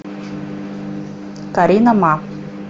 каринама